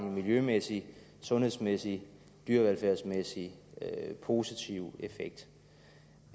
miljømæssigt sundhedsmæssigt og dyrevelfærdsmæssigt har en positiv effekt